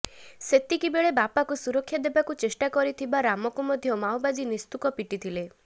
ସେତିକି ବେଳେ ବାପାକୁ ସୁରକ୍ଷା ଦେବାକୁ ଚେଷ୍ଟା କରିଥିବା ରାମକୁ ମଧ୍ୟ ମାଓବାଦୀ ନିସ୍ତୁକ ପିଟିଥିଲେ